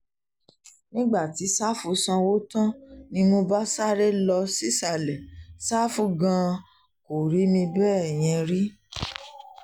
nígbà tí sáfù sanwó tán ni mo bá sáré lọ sísàlẹ̀ ṣàfù gan-an kò rí mi bẹ́ẹ̀ yẹn rí